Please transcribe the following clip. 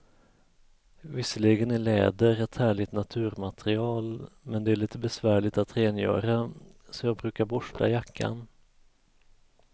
Visserligen är läder ett härligt naturmaterial, men det är lite besvärligt att rengöra, så jag brukar borsta jackan.